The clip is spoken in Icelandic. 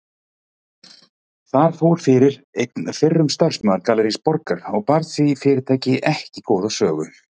Þar fór fyrir einn fyrrum starfsmaður Gallerís Borgar og bar því fyrirtæki ekki góða sögu.